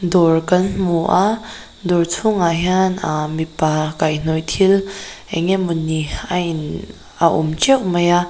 dawr kan hmu a dawr chhungah hian ahh mipa kaihnawih thil eng emawni a in a awm teuh mai a.